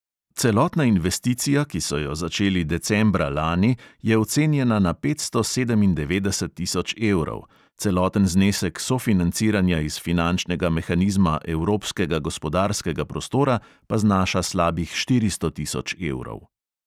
Celotna investicija, ki so jo začeli decembra lani, je ocenjena na petsto sedemindevetdeset tisoč evrov, celoten znesek sofinanciranja iz finančnega mehanizma evropskega gospodarskega prostora pa znaša slabih štiristo tisoč evrov.